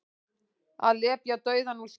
Að lepja dauðann úr skel